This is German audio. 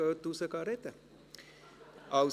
«Gehen Sie raus, wenn Sie zusammen sprechen wollen.